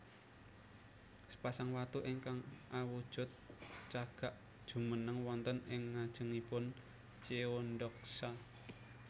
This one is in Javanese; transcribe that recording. Sepasang watu ingkang awujud cagak jumeneng wonten ing ngajengipun Cheondeoksa